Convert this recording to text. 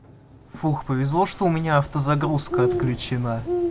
фух повезло что у меня автозагрузка отключена